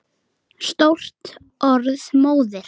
Stórt orð móðir!